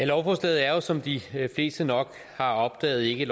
lovforslaget er jo som de fleste nok har opdaget ikke